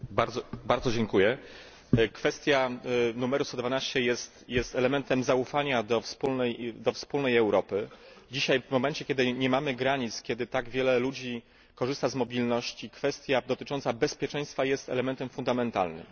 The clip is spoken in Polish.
Pani Przewodnicząca! Kwestia numeru 112 jest elementem zaufania do wspólnej Europy. Dzisiaj w momencie, kiedy nie mamy granic, kiedy tak wiele ludzi korzysta z mobilności, kwestia dotycząca bezpieczeństwa jest elementem fundamentalnym.